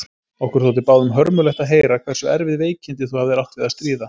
Okkur þótti báðum hörmulegt að heyra hversu erfið veikindi þú hafðir átt við að stríða.